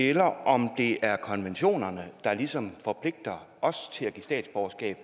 eller om det er konventionerne der ligesom forpligter os til at give statsborgerskab